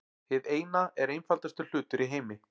Hið Eina er einfaldasti hlutur í heimi.